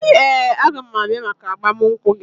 Ee, a ga m abịa maka agbamunkwụ gị